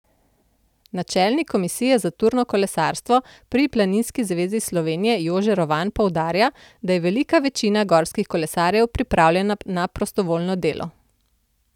Načelnik komisije za turno kolesarstvo pri Planinski zvezi Slovenije Jože Rovan poudarja, da je velika večina gorskih kolesarjev pripravljena na prostovoljno delo.